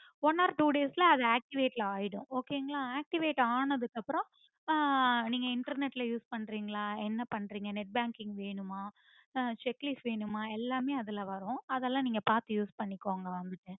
one or two days ல அத activate ஆயிடும் okay ங்களா activate ஆனதுக்கு அப்புறம் ஆஹ் நீங்க internet ல use பண்றிங்களா என்ன பண்றீங்க net banking வேணுமா ஆஹ் check leaf வேணுமா எல்லாமே அதுல வரும் அதெல்லாம் நீங்க பாத்து use பண்ணிக்கோங்க வந்துட்டு